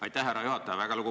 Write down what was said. Aitäh, härra juhataja!